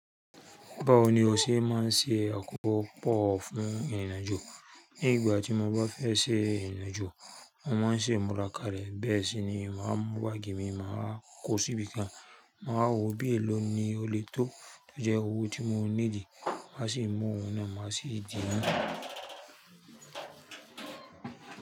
Báwo ni o ṣe máa ń ṣe àkópò pọ̀ fún ìrìnàjò? Ní ìgbà tí mo bá fẹ́ ṣe ìrìnàjò, mo máa ń ṣe imurá kàlẹ̀ ni. Bẹ́ẹ̀ sì ni màá mú báàgì mi, màá kó síbi kan, màá wo bí èló ni ó lè tó tó jẹ́ owó tí mo ní dì, màá sì mú òun náà, màá sì dì í.